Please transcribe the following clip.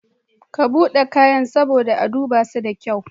Ka buɗe kayan saboda a dubaso da kyau.